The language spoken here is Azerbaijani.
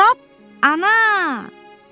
Trap ana!